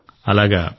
సరే విశాఖ గారూ